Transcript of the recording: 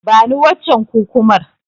Bani waccen Kukumar.